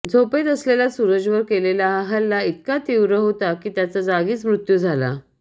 झोपेत असलेल्या सूरजवर केलेला हा हल्ला इतका तीव्र होता की त्याचा जागीच मृत्यू झाला